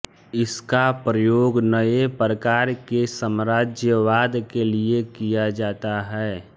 इसका प्रयोग नए प्रकार के साम्राज्यवाद के लिए किया जाता है